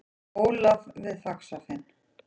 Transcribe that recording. Ólaf við Faxafen.